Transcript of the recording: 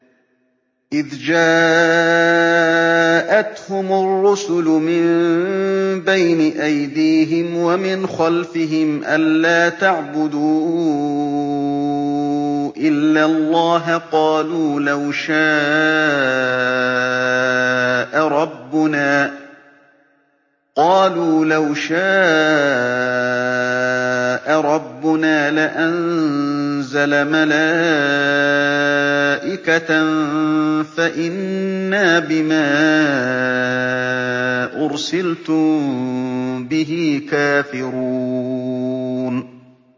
إِذْ جَاءَتْهُمُ الرُّسُلُ مِن بَيْنِ أَيْدِيهِمْ وَمِنْ خَلْفِهِمْ أَلَّا تَعْبُدُوا إِلَّا اللَّهَ ۖ قَالُوا لَوْ شَاءَ رَبُّنَا لَأَنزَلَ مَلَائِكَةً فَإِنَّا بِمَا أُرْسِلْتُم بِهِ كَافِرُونَ